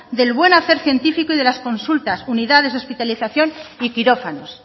del buen hacer científico y de las consultas unidades de hospitalización y quirófanos